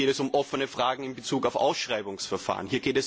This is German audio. Hier geht es um offene Fragen in Bezug auf Ausschreibungsverfahren.